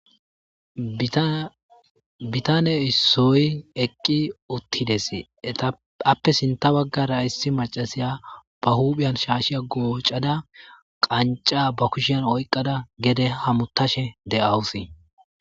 Butane issoy eqi utides, appe sinta bagara issi macashiya ba huphiyan shaashiya gocada qanca ba kushiyan oykada gede hamutashe de'awusi.